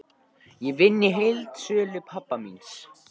Ég vinn í heildsölu pabba míns.